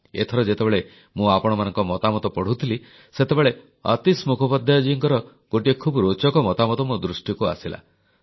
ଏଥର ଯେତେବେଳେ ମୁଁ ଆପଣମାନଙ୍କ ମତାମତ ପଢ଼ୁଥିଲି ସେତେବେଳେ ଆତୀଶ ମୁଖୋପାଧ୍ୟାୟ ଜୀଙ୍କର ଗୋଟିଏ ଖୁବ୍ ରୋଚକ ମତାମତ ମୋ ଦୃଷ୍ଟିକୁ ଆସିଲା